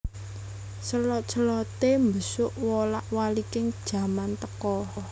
Selot selote mbesuk wolak waliking jaman teka